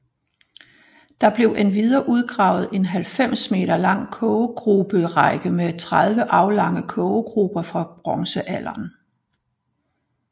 Der blev endvidere udgravet en 90m lang kogegruberække med 30 aflange kogegruber fra bronzealderen